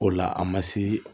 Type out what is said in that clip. O la an ma se